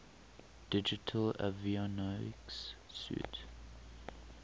digital avionics suite